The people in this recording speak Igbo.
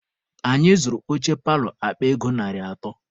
Anyị zụrụ oche paalọ akpa ego narị atọ.